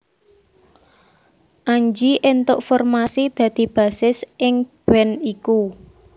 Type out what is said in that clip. Anji éntuk formasi dadi bassis ing band iku